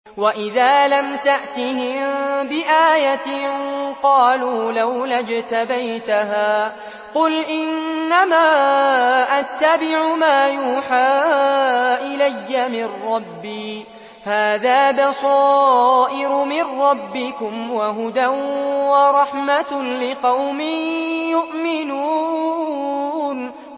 وَإِذَا لَمْ تَأْتِهِم بِآيَةٍ قَالُوا لَوْلَا اجْتَبَيْتَهَا ۚ قُلْ إِنَّمَا أَتَّبِعُ مَا يُوحَىٰ إِلَيَّ مِن رَّبِّي ۚ هَٰذَا بَصَائِرُ مِن رَّبِّكُمْ وَهُدًى وَرَحْمَةٌ لِّقَوْمٍ يُؤْمِنُونَ